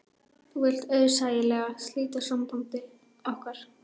Þú vilt auðsæilega slíta sambandi okkar.